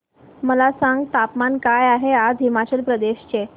मला सांगा तापमान काय आहे आज हिमाचल प्रदेश चे